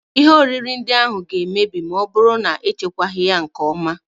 Ihe oriri ndị ahụ ga-emebi ma ọ bụrụ na echekwaghị ha nke ọma